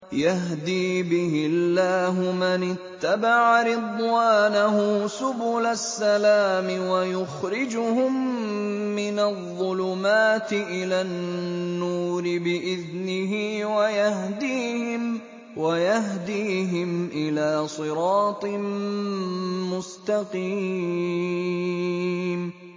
يَهْدِي بِهِ اللَّهُ مَنِ اتَّبَعَ رِضْوَانَهُ سُبُلَ السَّلَامِ وَيُخْرِجُهُم مِّنَ الظُّلُمَاتِ إِلَى النُّورِ بِإِذْنِهِ وَيَهْدِيهِمْ إِلَىٰ صِرَاطٍ مُّسْتَقِيمٍ